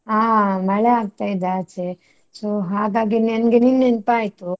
ಹಾ ಮಳೆ ಆಗ್ತಾ ಇದೆ ಆಚೆ. So ಹಾಗಾಗಿ ನಂಗೆ ನಿನ್ ನೆನ್ಪಾಯ್ತು.